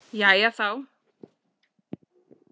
Jæja þá.